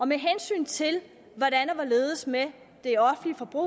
med hensyn til det offentlige forbrug